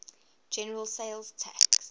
general sales tax